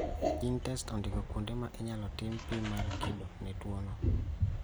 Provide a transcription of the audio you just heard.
GeneTests ondiko kuonde ma inyalo tim pim mar kido ne tuo no